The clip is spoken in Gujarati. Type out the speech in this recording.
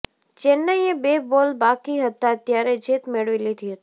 ચેન્નઈએ બે બોલ બાકી હતા ત્યારે જીત મેળવી લીધી હતી